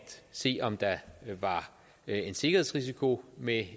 se om der var en sikkerhedsrisiko med